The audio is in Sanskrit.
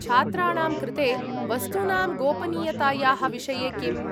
छात्राणां कृते वस्तूनां गोपनीयतायाः विषये किम्?